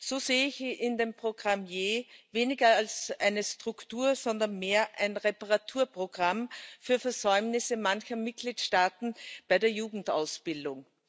So sehe ich in dem Programm YEI weniger eine Struktur, sondern mehr ein Reparaturprogramm für Versäumnisse mancher Mitgliedstaaten bei der Jugendausbildung.